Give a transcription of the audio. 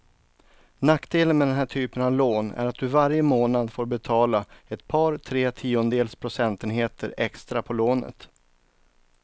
Nackdelen med den här typen av lån är att du varje månad får betala ett par, tre tiondels procentenheter extra på lånet.